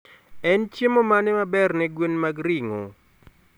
En chiemo mane maberne gwen mag ringo?